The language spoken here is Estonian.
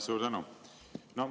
Suur tänu!